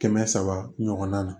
Kɛmɛ saba ɲɔgɔnna na